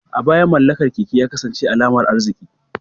A baya, mallakar keke ya kasance alamar arziki.